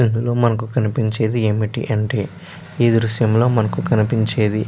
ఇందులో మనకు కనిపించేది ఏమిటి అంటే ఈ దృశ్యంలో మనకు కనిపించేది --